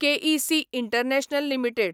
K E C international limited